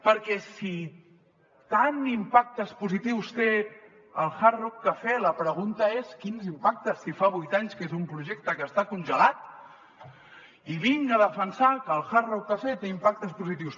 perquè si tants impactes positius té el hard rock cafè la pregunta és quins impactes si fa vuit anys que és un projecte que està congelat i vinga a defensar que el hard rock cafè té impactes positius